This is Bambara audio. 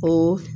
O